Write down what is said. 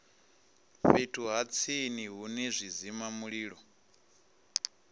fhethu ha tsini hune zwidzimamulilo